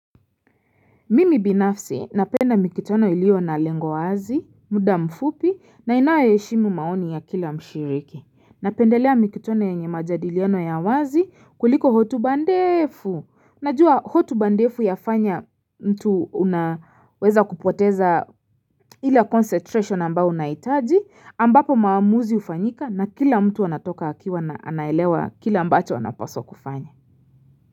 Mimi binafsi, napenda mikutano ilio na lengo wazi, muda mfupi, na inayo heshimu maoni ya kila mshiriki. Napendelea mikutano yenye majadiliano ya wazi kuliko hotuba ndefu. Najua hotuba ndefu yafanya mtu unaweza kupoteza ile concentration ambayo unahitaji ambapo maamuzi hufanyika na kila mtu anatoka akiwa na anaelewa kila ambacho anapaswa kufanya.